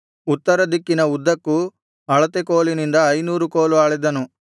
ಉತ್ತರದಿಕ್ಕಿನ ಉದ್ದಕ್ಕೂ ಅಳತೆ ಕೋಲಿನಿಂದ ಐನೂರು ಕೋಲು ಅಳೆದನು